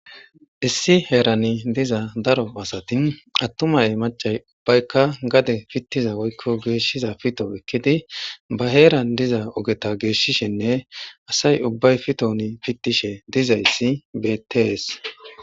Issi heerani diza daro asati attumay macay ubbaykka gade pittiza woykko geeshiza pito ekkidi ba heeran diza ogeta geeshishenne asay ubbay piton pittishe dizayssi bettees.